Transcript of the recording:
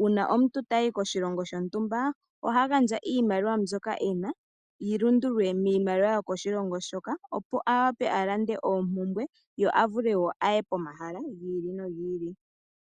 uuna omuntu tayi koshilongo shontumba oha gandja iimaliwa mbyoka ena yi lundululilwe miimaliwa yo koshilongo shoka opo a vule a lande oompumbwe. Ye a vule wo a ye pomahala gi ili nogi ili.